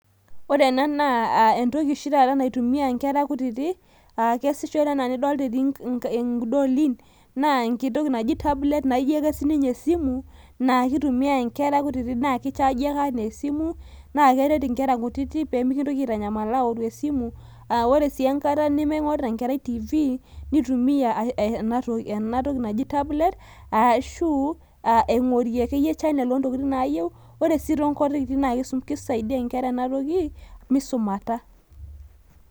ore ena naa entoki oshi tata naitumia inkera kutitik enkititoki naatii idolin naa keji tablet, naakichaaji ake enaa esimu naa keret enkera kutitik pee mikintoki aitanyamal awuoru esimu ore sii enkata ning'orita enkerai tv ,nitumiya enatoki naaju tablet ashu ing'orie channels naayieu naakisaidia sii misumata.